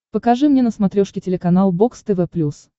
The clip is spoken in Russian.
покажи мне на смотрешке телеканал бокс тв плюс